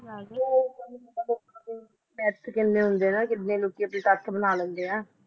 myth ਕਿੰਨੇ ਹੁੰਦੇ ਨਾ ਕਿੰਨੇ ਲੋਕੀ ਆਪਣੇ ਤੱਥ ਬਣਾ ਲੈਂਦੇ ਆ